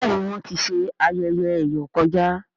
béèni Wón tí ṣe ayẹyẹ eyọ kọjá.